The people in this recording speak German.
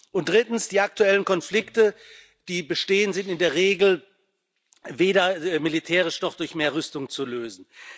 Und drittens sind die aktuellen Konflikte, die bestehen, in der Regel weder militärisch noch durch mehr Rüstung zu lösen.